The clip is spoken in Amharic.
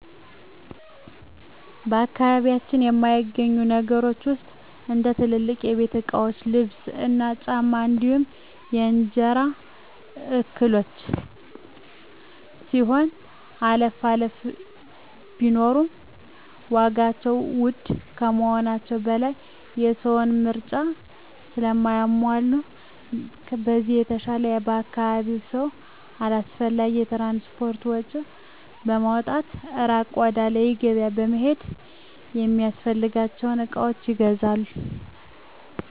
በአካባቢያችን ከማይገኙ ነገሮች ውስጥ እንደ ትልልቅ የቤት እቃዎች ልብስ እና ጫማ እንዲሁም የእንጀራ እህሎች ሲሆኑ አልፎ አልፎ ቢኖሩም ዋጋቸው ውድ ከመሆናቸው በላይ የሰውን ምርጫ ስለማያሟሉ በዚህ የተነሳ የአካባቢው ሰው አላስፈላጊ የትራንስፖርት ወጭ በማውጣት እራቅ ወዳለ ገቢያ በመሄድ የሚፈልጋቸውን እቃዎች ይገዛል።